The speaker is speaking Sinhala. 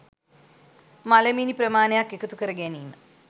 මළමිනි ප්‍රමාණයක් එකතු කර ගැනීම